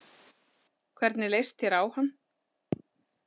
Hvernig leist þér á hann?